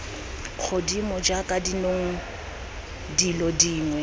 godimo jaaka dinong dilo dingwe